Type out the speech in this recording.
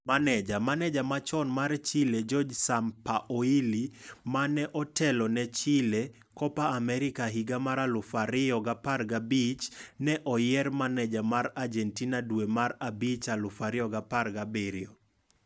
Maneja: Maneja machon mar Chile Jorge Sampaoli, mane otelone Chile, Copa America, higa mar2015, ne oyiere maneja mar Argentina dwe mar abich 2017.